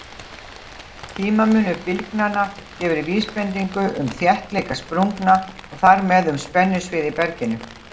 Tímamunur bylgnanna gefur vísbendingu um þéttleika sprungna og þar með um spennusvið í berginu.